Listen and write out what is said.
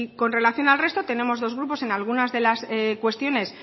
con relación al resto tenemos dos grupos en algunas de las cuestiones